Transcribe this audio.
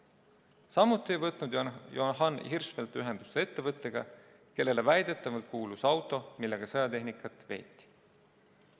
Samuti ei võtnud Johan Hirschfeldt ühendust ettevõttega, kellele väidetavalt kuulus auto, millega sõjatehnikat veeti.